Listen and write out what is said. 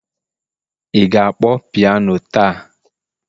ị ga-akpọ piano taa?